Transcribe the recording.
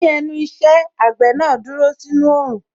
Ní ẹnu iṣẹ́, àgbẹ̀ náà dúró sínú Òòrùn